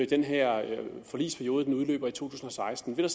den her forligsperiode udløber i 2016 vil